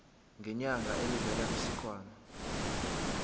ngenyanga elivela kwisikhwama